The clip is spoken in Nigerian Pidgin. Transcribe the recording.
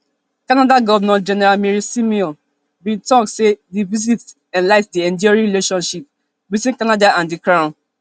canada governor general mary simon bin tok say di visit highlight di enduring relationship between canada and di crown